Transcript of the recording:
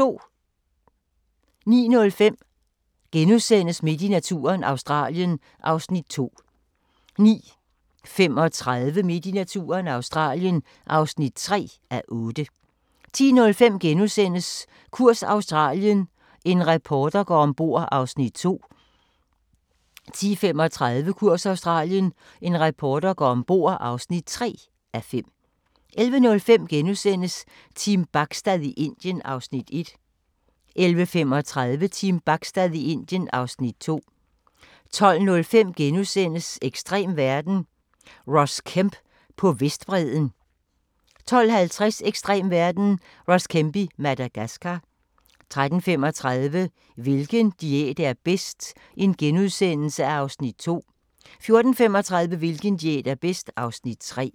09:05: Midt i naturen – Australien (2:8)* 09:35: Midt i naturen – Australien (3:8) 10:05: Kurs Australien – en reporter går ombord (2:5)* 10:35: Kurs Australien – en reporter går ombord (3:5) 11:05: Team Bachstad i Indien (Afs. 1)* 11:35: Team Bachstad i Indien (Afs. 2) 12:05: Ekstrem verden – Ross Kemp på Vestbredden * 12:50: Ekstrem verden – Ross Kemp i Madagascar 13:35: Hvilken diæt er bedst? (Afs. 2)* 14:35: Hvilken diæt er bedst? (Afs. 3)